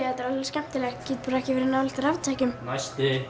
þetta er alveg skemmtilegt ég get bara ekki verið nálægt raftækjum næsti